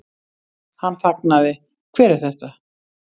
Hann þagnaði, Hver er þetta?